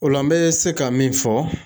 O la n bɛ se ka min fɔ